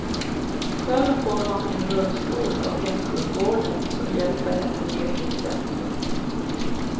Själv får hon en rullstol av hemsjukvården som hjälper henne ner till centrum.